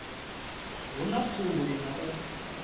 hu na khuli na u